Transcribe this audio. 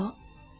Nədir o?